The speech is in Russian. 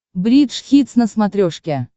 бридж хитс на смотрешке